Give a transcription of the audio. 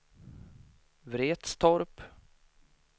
Vretstorp